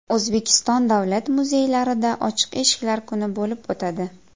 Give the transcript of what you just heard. O‘zbekiston davlat muzeylarida ochiq eshiklar kuni bo‘lib o‘tadi.